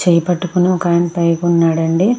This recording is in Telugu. చెయ్ పెట్టుకొని ఒక అయన పైకి ఉన్నాడండి.